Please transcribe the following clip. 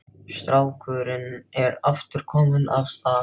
Strákurinn er aftur kominn af stað.